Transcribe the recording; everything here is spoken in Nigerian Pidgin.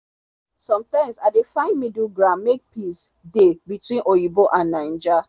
sometimes i dey find middle ground make peace dey between oyinbo and naija